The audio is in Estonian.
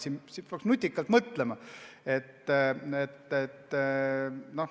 Peaks leidma nutikama lahenduse.